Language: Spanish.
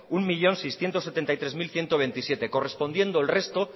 un millón seiscientos setenta y tres mil ciento veintisiete correspondiendo el resto